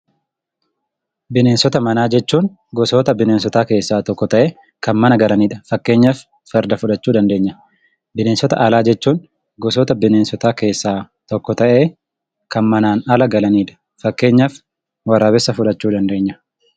Bineensota manaa jechuun gosoota bineensotaa keessaa tokko ta'ee, kan mana galanidha. Fakkeenyaaf farda fudhachuu dandeenya. Bineensota alaa jechuun gosoota bineensotaa keessaa tokko ta'ee, kan manaan ala galanidha. Fakkeenyaaf waraabessa fudhachuu dandeenya.